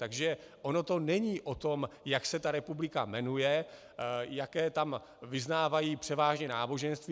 Takže ono to není o tom, jak se ta republika jmenuje, jaké tam vyznávají převážně náboženství.